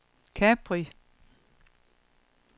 Capri